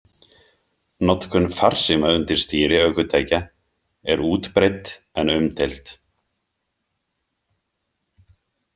Notkun farsíma undir stýri ökutækja er útbreidd en umdeild.